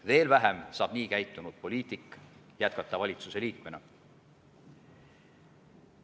Veel vähem saab nii käitunud poliitik jätkata valitsuse liikmena.